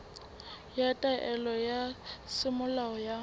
ya taelo ya semolao ya